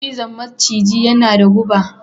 cizon maciji yana da guba